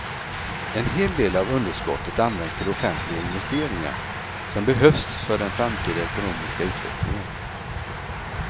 En hel del av underskottet används till offentliga investeringar som behövs för den framtida ekonomiska utvecklingen.